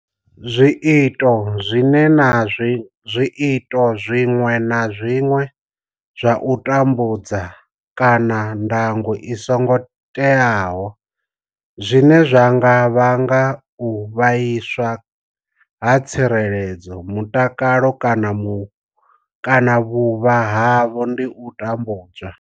Zwiito zwiṅwe na zwiṅwe zwa u tambudza kana ndango i songo teaho zwine zwa nga vhanga u vhaiswa ha tsireledzo, mutakalo kana vhuvha havho ndi u tambudzwa.